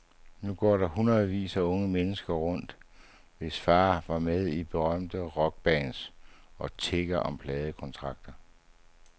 Nu går der hundredvis af unge mennesker rundt, hvis far var med i berømte rockbands, og tigger om pladekontrakter.